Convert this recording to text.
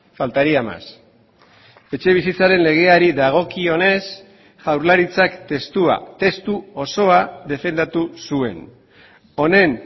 faltaría más etxebizitzaren legeari dagokionez jaurlaritzak testua testu osoa defendatu zuen honen